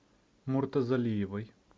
муртазалиевой